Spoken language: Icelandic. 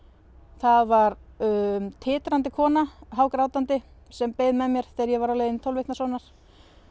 það var titrandi kona hágrátandi sem beið með mér þegar ég var á leið í tólf vikna sónar